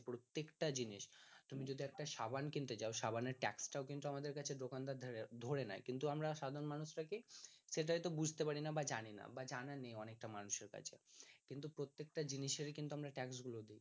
প্রত্যেকটা জিনিস তুমি যদি একটা সাবান কিনতে যায় সাবানের ট্যাক্স টাও কিন্তু আমাদের দোকানদার ধরে নিচ্ছে কিন্তু আমরা সাধারণ মানুষরা কি সেটা হয়তো বুঝতে পারিনা বা জানিনা বা জানা নেই অনেকটা মানুষের কাছে কিন্তু প্রত্যেকটা জিনিসেরই কিন্তু আমরা ট্যাক্স গুলো দেই